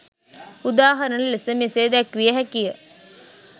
උදාහරණ ලෙස මෙසේ දැක්විය හැකි ය.